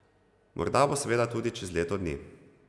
Morda bo seveda tudi čez leto dni.